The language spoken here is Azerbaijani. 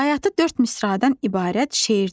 Bayatı dörd misradan ibarət şeirdir.